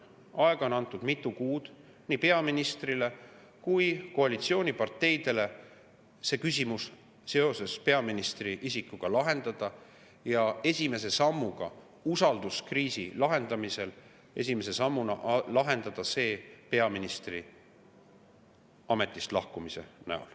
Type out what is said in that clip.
Aega on antud mitu kuud nii peaministrile kui koalitsiooniparteidele peaministri isiku küsimus lahendada ja esimese sammuna usalduskriisi lahendamisel lahendada see peaministri ametist lahkumisega.